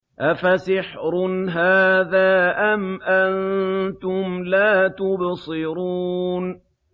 أَفَسِحْرٌ هَٰذَا أَمْ أَنتُمْ لَا تُبْصِرُونَ